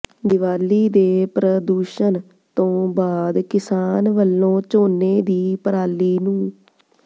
ਦੀਵਾਲੀ ਦੇ ਪ੍ਰਦੂਸ਼ਨ ਤੋਂ ਬਾਅਦ ਕਿਸਾਨ ਵੱਲੋਂ ਝੋਨੇ ਦੀ ਪਰਾਲੀ ਨੂੰ